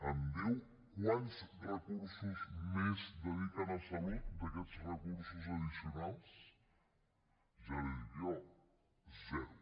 em diu quants recursos més dediquen a salut d’aquests recursos addicionals ja l’hi dic jo zero